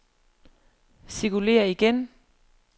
cirkulér igen